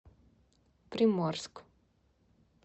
приморск